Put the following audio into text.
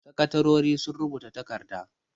Sakatarori sun rubuta takarda.